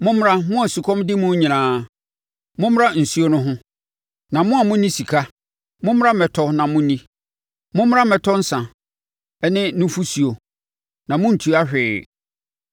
“Mommra, mo a osukɔm de mo nyinaa, mommra nsuo no ho; na mo a monni sika, mommra mmɛtɔ na monni! Mommra mmɛtɔ nsã ne nufosuo a monntua hwee.